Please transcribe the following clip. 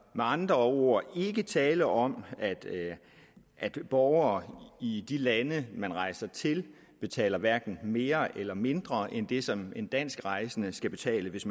med andre ord ikke tale om at borgere i de lande man rejser til betaler hverken mere eller mindre end det som en dansk rejsende skal betale hvis